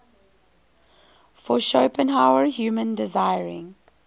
for schopenhauer human desiring